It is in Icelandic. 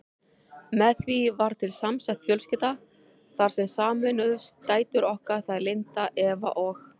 Með því varð til samsett fjölskylda þar sem sameinuðust dætur okkar, þær Linda, Eva og